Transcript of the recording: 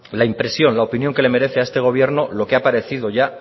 la impresión la opinión que le merece a este gobierno lo que ha parecido ya